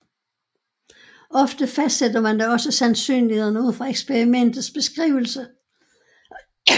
Ofte fastsætter man dog også sandsynlighederne ud fra eksperimentets beskrivelse